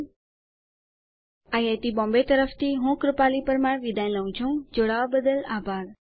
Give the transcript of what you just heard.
IIT Bombay તરફથી ભાષાંતર અને રેકોર્ડીંગ કરનાર હું કૃપાલી પરમાર વિદાય લઉં છુંજોડાવા માટે આભાર